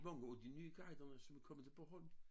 Mange af de nye guiderne som er kommet til Bornholm